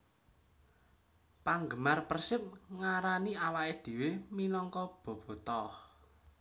Panggemar Persib ngarani awaké dhéwé minangka Bobotoh